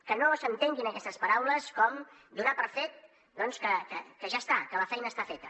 que no s’entenguin aquestes paraules com donar per fet doncs que ja està que la feina està feta